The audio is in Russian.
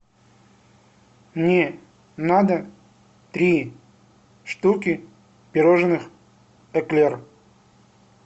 мне надо три штуки пирожных эклер